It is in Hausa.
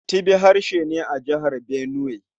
Tibi harshe ne a Jihar Benuwai.